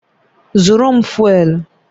Zụrụ m fụ́élú!